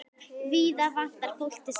Víða vantar fólk til starfa.